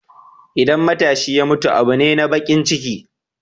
Idan matashi ya mutu abu ne na baƙin ciki.